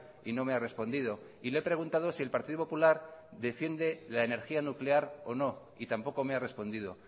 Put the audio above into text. y no me ha respondido y le he preguntado si el partido popular defiende la energía nuclear o no y tampoco me ha respondido